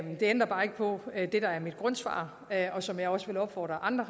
ændrer bare ikke på det der er mit grundsvar og som jeg også vil opfordre andre